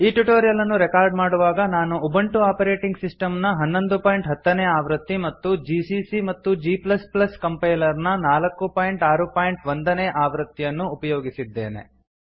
ಈ ಟ್ಯುಟೋರಿಯಲ್ ಅನ್ನು ರೆಕಾರ್ಡ್ ಮಾಡುವಾಗ ನಾನು ಉಬುಂಟು ಆಪರೇಟಿಂಗ್ ಸಿಸ್ಟಮ್ನ1110 ನೇಆವೃತ್ತಿ ಮತ್ತು ಜಿಸಿಸಿ ಮತ್ತುgಕಂಪೈಲರ್ನ461 ನೇಆವೃತ್ತಿಯನ್ನು ಅನ್ನು ಉಪಯೋಗಿಸಿದ್ದೇನೆ